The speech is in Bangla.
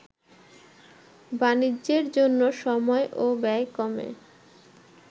বাণিজ্যের জন্য সময় ও ব্যয় কমে